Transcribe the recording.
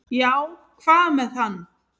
"""Já, hvað með hann?"""